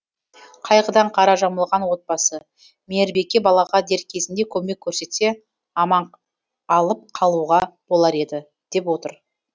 қайғыдан қара жамылған отбасы мейірбике балаға дер кезінде көмек көрсетсе аман алып қалуға болар еді деп отыр